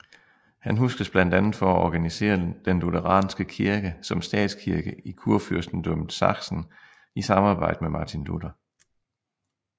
Han huskes blandt andet for at organisere den lutheranske kirke som statskirke i Kurfyrstendømmet Sachsen i samarbejde med Martin Luther